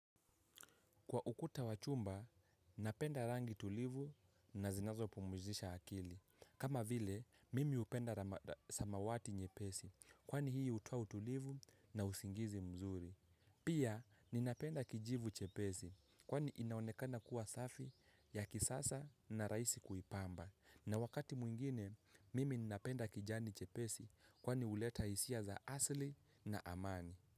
Kwa ukuta wa chumba, napenda rangi tulivu na zinazo pumuzisha akili. Kama vile, mimi upenda samawati nyepesi, kwani hii hutoa utulivu na usingizi mzuri. Pia, ninapenda kijivu chepesi, kwani inaonekana kuwa safi ya kisasa na raisi kuipamba. Na wakati mwingine, mimi ninapenda kijani chepesi, kwani uleta hisia za asli na amani.